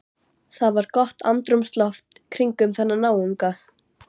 Það var gott andrúmsloft kringum þessa náunga.